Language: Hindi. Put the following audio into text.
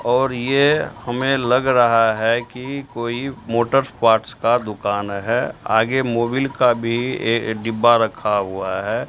और ये हमें लग रहा है कि कोई मोटर पार्ट्स का दुकान है आगे मोबिल का भी डिब्बा रखा हुआ है।